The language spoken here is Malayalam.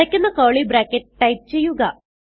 അടയ്ക്കുന്ന കർലി ബ്രാക്കറ്റ് ടൈപ്പ് ചെയ്യുക